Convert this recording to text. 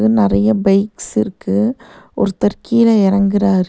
இங்க நறையா பைக்ஸ் இருக்கு ஒருத்தர் கீழ எறங்குறாரு.